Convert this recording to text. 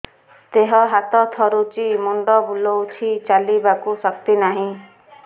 ଦେହ ହାତ ଥରୁଛି ମୁଣ୍ଡ ବୁଲଉଛି ଚାଲିବାକୁ ଶକ୍ତି ନାହିଁ